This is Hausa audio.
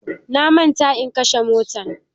Na manta in kashe motan